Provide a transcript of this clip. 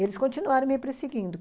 Eles continuaram me perseguindo.